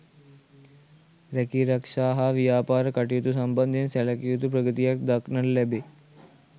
රැකීරක්ෂා හා ව්‍යාපාර කටයුතු සම්බන්ධයෙන් සැලකිය යුතු ප්‍රගතියක් දක්නට ලැබේ.